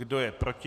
Kdo je proti?